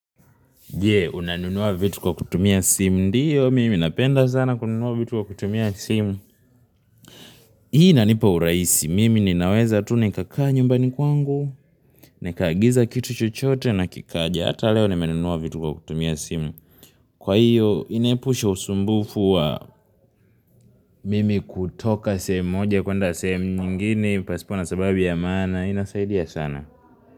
Je, unanunua vitu kwa kutumia simu, ndiyo mimi napenda sana kununua vitu kwa kutumia simu. Hii inanipa urahisi, mimi ninaweza tu nikakaa nyumbani kwangu, nikaagiza kitu chochote na kikaja, ata leo nimenunua vitu kwa kutumia simu. Kwa hiyo, inahepusha usumbufu wa mimi kutoka sehemu moja kwenda sehemu nyingine, pasipo na sababi ya mana, inasaidia sana.